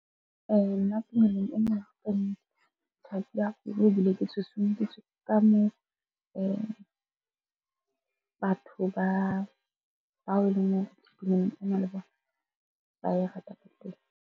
Nna tumelong ena thabile haholo ebile ke susumeditswe ka moo batho ba bao tumelong ena le bona ba e ratang ka teng.